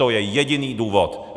To je jediný důvod.